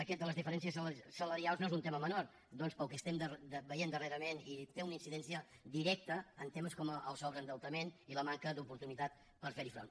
aquest de les diferències salarials no és un tema menor doncs pel que estem veient darrerament té una incidència directa en temes com el sobreendeutament i la manca d’oportunitat per fer hi front